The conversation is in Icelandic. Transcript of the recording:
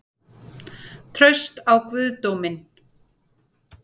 Traust á guðdóminn?